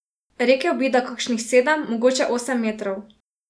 Rekel bi, da kakšnih sedem, mogoče osem metrov.